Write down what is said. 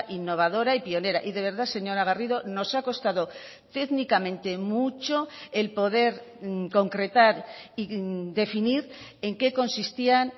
innovadora y pionera y de verdad señora garrido nos ha costado técnicamente mucho el poder concretar y definir en qué consistían